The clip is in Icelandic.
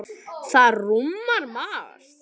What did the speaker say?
Það rúmar margt.